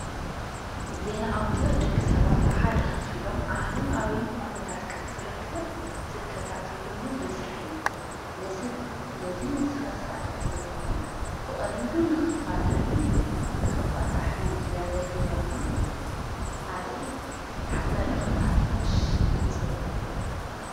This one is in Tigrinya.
ዜና ኣውተር ደቂ ሰባት ኣብ ሓደ ኽፍ ኢሎም ዓለም ኣበይ ኲነታት ክንትርከብ ጽከታ ተልሉ መሥርሕ እዩ ነዝ ነስኸሳለጥ ወይ ድሞ ብቕሊሉ ንኽፋጠንን ንኽባጻ ሕንድ ዘገልግለና ሓ መኸ ሓፋሽ ድብጸ ወያነ እዩ።